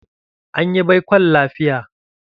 Anyi baikon lafiya.